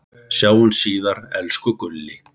Sjáumst síðar, elsku Gulli.